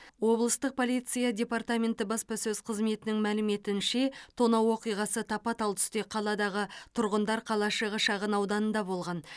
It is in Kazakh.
облыстық полиция департаменті баспасөз қызметінің мәліметінше тонау оқиғасы тапа тал түсте қаладағы тұрғындар қалашығы шағын ауданында болған